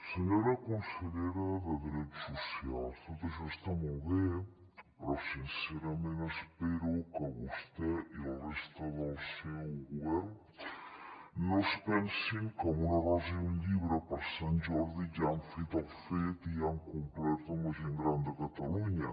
senyora consellera de drets socials tot això està molt bé però sincerament espero que vostè i la resta del seu govern no es pensin que amb una rosa i un llibre per sant jordi ja han fet el fet i ja han complert amb la gent gran de catalunya